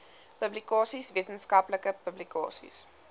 publikasies wetenskaplike publikasies